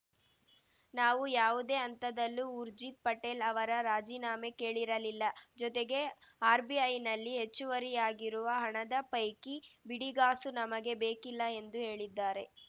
ನಾವು ಯಾವುದೇ ಹಂತದಲ್ಲೂ ಊರ್ಜಿತ್‌ ಪಟೇಲ್‌ ಅವರ ರಾಜೀನಾಮೆ ಕೇಳಿರಲಿಲ್ಲ ಜೊತೆಗೆ ಆರ್‌ಬಿಐನಲ್ಲಿ ಹೆಚ್ಚುವರಿಯಾಗಿರುವ ಹಣದ ಪೈಕಿ ಬಿಡಿಗಾಸೂ ನಮಗೆ ಬೇಕಿಲ್ಲ ಎಂದು ಹೇಳಿದ್ದಾರೆ